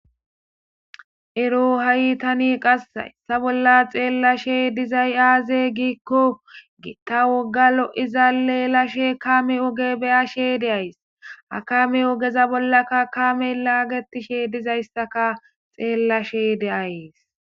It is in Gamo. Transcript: ero ha7i tani qass essa bolla xeellashe dizay aaze giikko giitta wogga lo7izaleelashe kaame oge beyashe deays akame ogeza bollaka akame laagetishe dizayssaka xeellashe de'ays